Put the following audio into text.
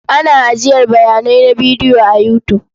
Ana ajiyar bayanai na bidiyo a You tube.